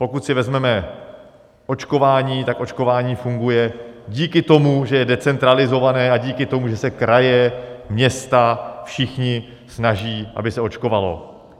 Pokud si vezmeme očkování, tak očkování funguje díky tomu, že je decentralizované, a díky tomu, že se kraje, města, všichni snaží, aby se očkovalo.